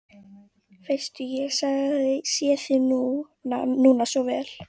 Veistu, ég sé það núna svo vel.